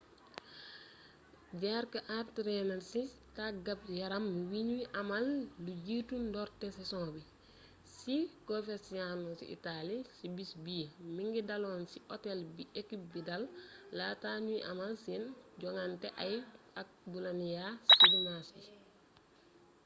jarque entrainé na ci tàggat-yaram wi ñuy amal lu jiitu ndoorte saison bi ci coverciano ci italie ci bis bi mingi daloon ci hôtel bi équipe bi dal laata ñuy amal seen joŋante ak bolonia ci dimanche ji